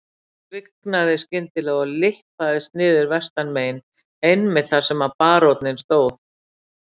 Hann svignaði skyndilega og lyppaðist niður vestanmegin einmitt þar sem baróninn stóð.